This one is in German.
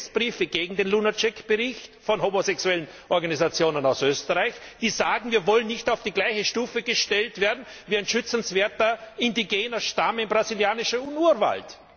Protestbriefe gegen den Bericht Lunacek von Homosexuellenorganisationen aus Österreich, die sagen Wir wollen nicht auf die gleiche Stufe gestellt werden wie ein schützenswerter indigener Stamm im brasilianischen Urwald.